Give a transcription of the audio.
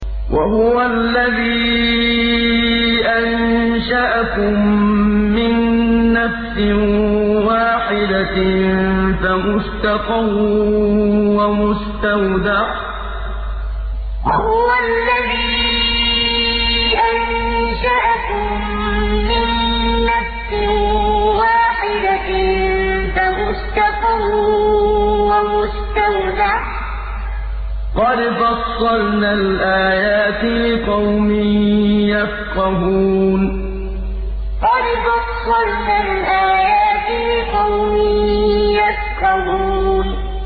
وَهُوَ الَّذِي أَنشَأَكُم مِّن نَّفْسٍ وَاحِدَةٍ فَمُسْتَقَرٌّ وَمُسْتَوْدَعٌ ۗ قَدْ فَصَّلْنَا الْآيَاتِ لِقَوْمٍ يَفْقَهُونَ وَهُوَ الَّذِي أَنشَأَكُم مِّن نَّفْسٍ وَاحِدَةٍ فَمُسْتَقَرٌّ وَمُسْتَوْدَعٌ ۗ قَدْ فَصَّلْنَا الْآيَاتِ لِقَوْمٍ يَفْقَهُونَ